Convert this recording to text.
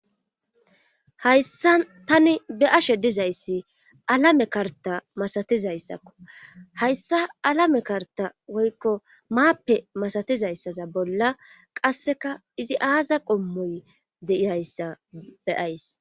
Hayssa tani be7ashe dizayssi alame karta masatizayssakko hayssa alame karta woykko maappe masatizayssaza bolla qasseka izi aaza qommoy deiyayssa be7ays.